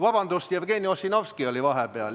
Vabandust, Jevgeni Ossinovski oli enne.